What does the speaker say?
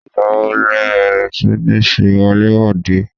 Ìgbà wo le bẹ̀rẹ̀ si ní ṣe wọlé-wòde?